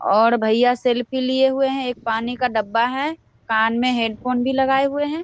और भैया सेल्फी लिए हुए है और एक पानी का डब्बा है कान में हैडफ़ोन भी लगाये हुए है।